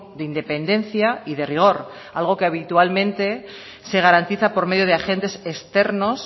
de independencia y de rigor algo que habitualmente se garantiza por medio de agentes externos